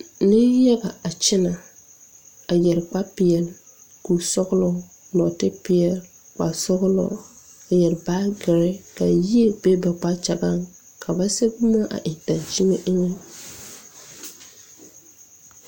Neŋ yaga a kyɛnɛ a yɛre kpare peɛle kuresɔglɔ nɔɔte peɛle kparesɔglɔ a yɛre baagirre kavyie be ba kpakyagaŋ ka ba sɛge boma a eŋ daŋkyime eŋɛ.